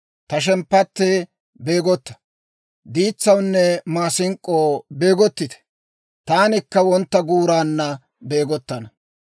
Ta shemppattee, beegotta! Diitsawunne maasink'k'oo, beegottite! Taanikka wontta guuraanna beegottana.